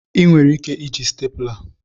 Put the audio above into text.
Ị nwere ike iji stapler.